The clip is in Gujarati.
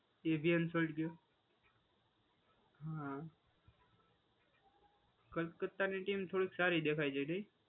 એ બી અનફોલ્ડ ગયો. હા. કલકત્તાની ટીમ થોડી ક સારી દેખાય છે.